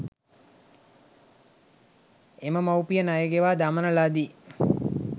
එම මවුපිය ණය ගෙවා දමන ලදී.